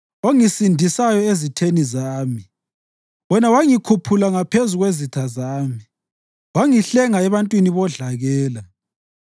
ongisindisayo ezitheni zami. Wena wangikhuphula ngaphezu kwezitha zami; wangihlenga ebantwini bodlakela.